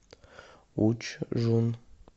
учжун